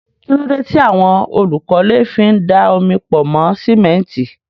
Kí ló dé tí àwọn olùkọ́lé fi ń da omi pọ̀ mọ́ símẹ́ńtì?